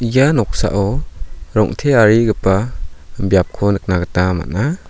ia noksao rong·tearigipa biapko nikna gita man·a.